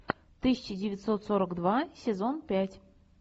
тысяча девятьсот сорок два сезон пять